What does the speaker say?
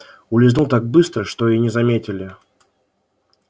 улизнул так быстро что и не заметили